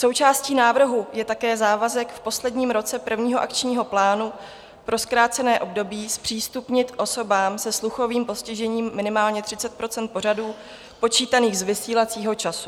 Součástí návrhu je také závazek v posledním roce prvního akčního plánu pro zkrácené období zpřístupnit osobám se sluchovým postižením minimálně 30 % pořadů počítaných z vysílacího času.